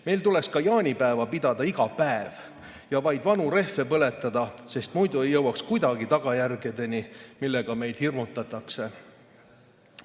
Meil tuleks ka jaanipäeva pidada iga päev ja vaid vanu rehve põletada, sest muidu ei jõuaks kuidagi tagajärgedeni, millega meid hirmutatakse.